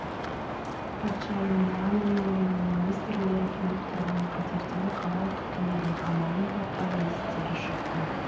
патшайым муана мен оның министрлері төніп тұрған қатерден қалай құтылудың амалын таппай естері шықты